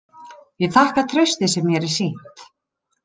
Ég þakka traustið sem mér er sýnt.